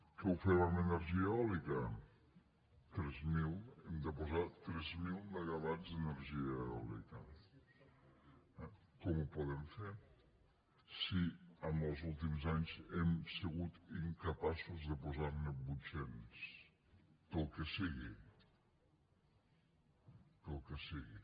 que ho fem amb energia eòlica hem de posar tres mil megawatts d’energia eòlica eh com ho podem fer si en els últims anys hem sigut incapaços de posar ne vuit cents pel que sigui pel que sigui